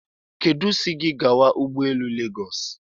Kedu si gi gawa n'ụgbọelu Legos?